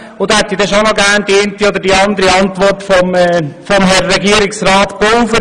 Und dazu hätte ich dann doch gerne noch die eine oder andere Antwort von Herrn Regierungsrat Pulver.